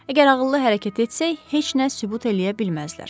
Əgər ağıllı hərəkət etsək, heç nə sübut eləyə bilməzlər.